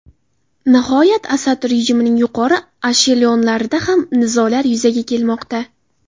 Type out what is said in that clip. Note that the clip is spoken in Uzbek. Nihoyat, Asad rejimining yuqori eshelonlarida ham nizolar yuzaga kelmoqda.